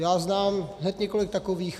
Já znám hned několik takových.